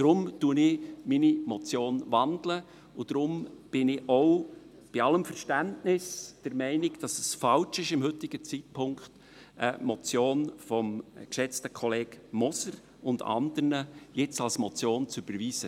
Deshalb wandle ich meine Motion, und deshalb bin ich auch – bei allem Verständnis – der Meinung, dass es falsch ist, zum heutigen Zeitpunkt eine Motion des geschätzten Kollegen Moser und anderen jetzt als Motion zu überweisen.